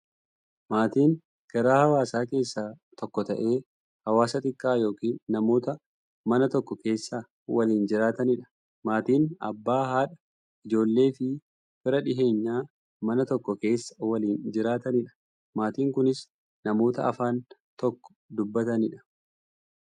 Maatiin garaa hawaasaa keessaa tokko ta'ee, hawaasa xiqqaa yookin namoota Mana tokko keessaa waliin jiraataniidha. Maatiin Abbaa, haadha, ijoolleefi fira dhiyeenyaa, Mana tokko keessaa waliin jiraataniidha. Maatiin kunnis, namoota afaan tokko dubbataniidha.